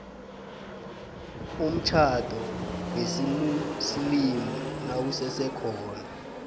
umtjhado wesimuslimu nawusesekhona